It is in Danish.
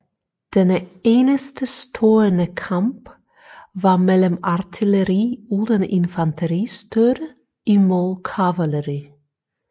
Denne enestestående kamp var mellem artilleri uden infanteristøtte imod kavaleri